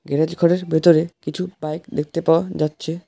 Garage ঘরের ভেতরে কিছু বাইক দেখতে পাওয়া যাচ্ছে।